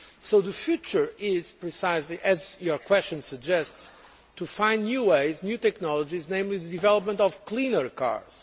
So the future is precisely as your question suggests, finding new ways and new technologies, namely the development of cleaner cars.